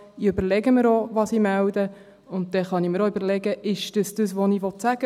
Ich überlege mir, was ich melde, und dann kann ich mir auch überlegen: Ist es das, was ich sagen will?